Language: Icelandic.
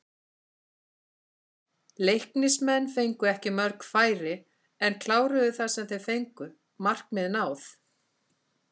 Leiknismenn fengu ekki mörg færi en kláruðu það sem þeir fengu, markmið náð?